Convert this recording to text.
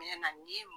Mɛ na ni